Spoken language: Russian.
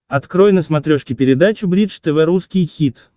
открой на смотрешке передачу бридж тв русский хит